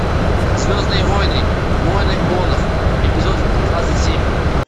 звездные войны войны клонов эпизод двадцать семь